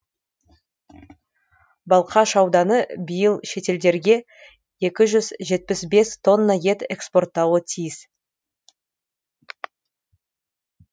балқаш ауданы биыл шетелдерге екі жүз жетпіс бес тонна ет экспорттауы тиіс